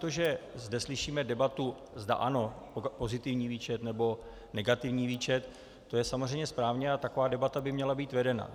To, že zde slyšíme debatu, zda ano pozitivní výčet, nebo negativní výčet, to je samozřejmě správně a taková debata by měla být vedena.